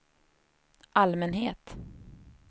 allmänhet